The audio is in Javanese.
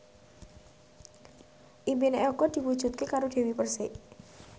impine Eko diwujudke karo Dewi Persik